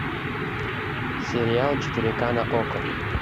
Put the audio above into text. сериал четыре ка на окко